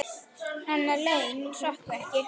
Hennar laun hrökkvi ekki til.